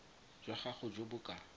jwa gago jo bo ka